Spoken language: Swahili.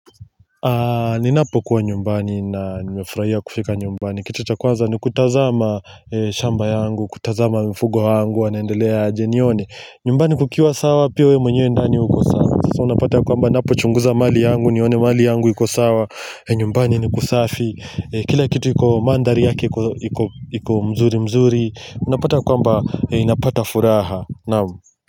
Ninapokuwa nyumbani na nimefurahia kufika nyumbani Kitu cha kwanza ni kutazama shamba yangu, kutazama mifugo wangu, wanaendelea aje nione nyumbani kukiwa sawa pia wewe mwenyewe ndani uko sawa Sasa unapata kwamba ninapo chunguza mali yangu, nione mali yangu iko sawa nyumbani ni kusafi, kila kitu yako mandari yake iko mzuri mzuri Unapata kwamba napata furaha, naam.